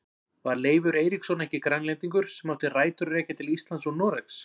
Var Leifur Eiríksson ekki Grænlendingur sem átti rætur að rekja til Íslands og Noregs?